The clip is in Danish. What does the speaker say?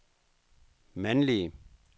mandlige